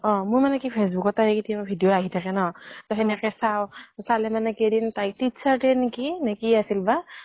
অ অ মই মানে কি facebook ত তাইৰ কেতিয়াবা video আহি থাকে ন। সেনেকে চাওঁ। চালে মানে কেইদিন তাই teacher day ত নেকি নেকি আছিল বা